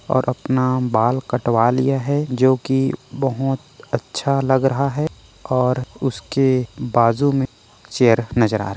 और अपना बाल कटवा लिया है जो की बहुत अच्छा लग रहा है और उसके बाजू में चेयर नजर आ र--